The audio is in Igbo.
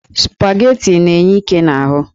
Spaghetti na-enye íké n'ahụ.